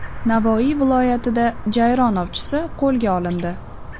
Navoiy viloyatida jayron ovchisi qo‘lga olindi.